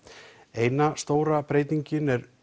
eina stóra breytingin er